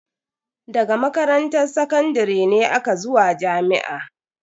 Daga makaranta sakandare ne aka zuwa jami'a.